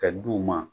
Ka d'u ma